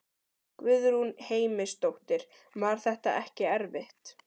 Guðrún Heimisdóttir: Var þetta ekki erfitt?